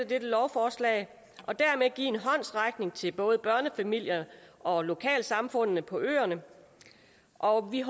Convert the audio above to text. dette lovforslag og dermed give en håndsrækning til både børnefamilierne og lokalsamfundene på øerne og vi